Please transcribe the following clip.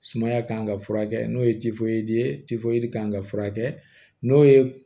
Sumaya kan ka furakɛ n'o ye ye kan ka furakɛ n'o ye